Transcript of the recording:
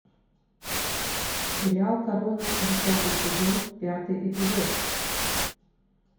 сериал корона десятый сезон пятый эпизод